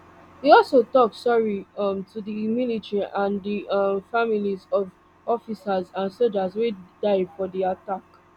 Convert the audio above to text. e also tok sorry um to di military and di um families of officers and sojas wey die for di attack